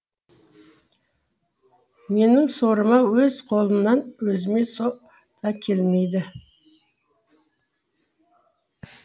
менің сорыма өз қолымнан өзіме со да келмейді